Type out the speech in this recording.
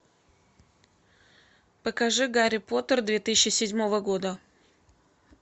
покажи гарри поттер две тысячи седьмого года